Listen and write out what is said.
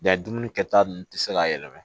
Nka dumuni kɛta ninnu tɛ se ka yɛlɛma